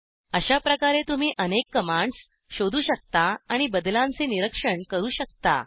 अशाचप्रकारे तुम्ही अनेक कमांड्स शोधू शकता आणि बदलांचे निरीक्षण करू शकता